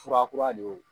Fura kura de ye